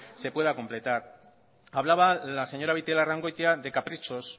se pueda completar hablaba la señora beitialarrangoitia de caprichos